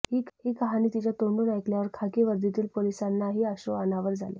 ही कहाणी तिच्या तोंडून ऐकल्यावर खाकी वर्दीतील पोलिसांनाही अश्रू अनावर झाले